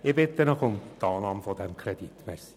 Ich bitte Sie um die Annahme des Kredits.